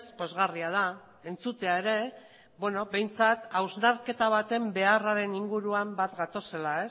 pozgarria da entzutea ere behintzat hausnarketa baten beharraren inguruan bat gatozela